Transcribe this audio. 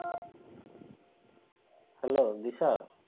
Hello Disha?